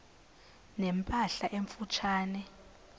ne mpahla emfutshane